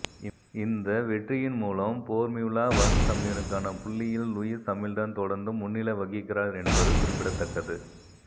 இந்த வெற்றியின் மூலம் போர்மியுலா வன் சம்பியனுக்கான புள்ளியில் லுயிஸ் ஹமில்டன் தொடர்ந்தும் முன்னிலை வகிக்கிறார் என்பது குறிப்பிடத்தக்கது